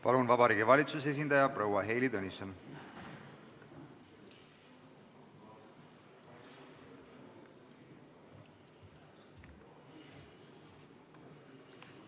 Palun, Vabariigi Valitsuse esindaja proua Heili Tõnisson!